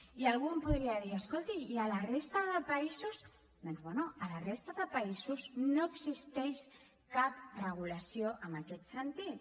i algú em podria dir escolti i a la resta de països doncs bé a la resta de països no existeix cap regulació en aquest sentit